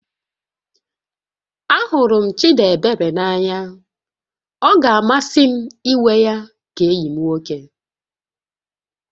Ahụrụ m Chịdịebere n'anya, ọ ga-amasị m ịnwe ya ka enyi m nwoke